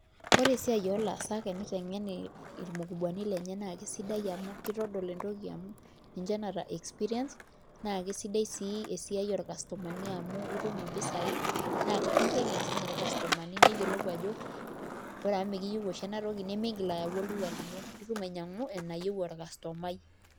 Ore esiai oolaasak tenitengen irmukubwani lenye naa kesidai amu kitodol entoki amu ninche oota experience sidai sii esiai ircustomani amu keeta mpisai naa kiteng'eni since ircustomani niyiolou ajo ore amu mekiyieu oshi ena toki nemintoki ayau olduka lino nitum ainyiang'u enayieu orcustomai.